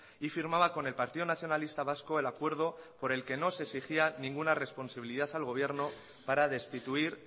y firmaba con el partido nacionalista vasco el acuerdo por el que no se exigía ninguna responsabilidad al gobierno para destituir